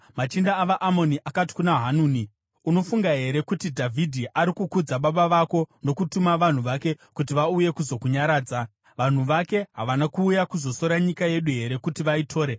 machinda avaAmoni akati kuna Hanuni, “Unofunga here kuti Dhavhidhi ari kukudza baba vako nokutuma vanhu vake kuti vauye kuzokunyaradza? Vanhu vake havana kuuya kuzosora nyika yedu here kuti vaitore?”